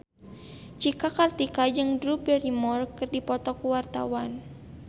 Cika Kartika jeung Drew Barrymore keur dipoto ku wartawan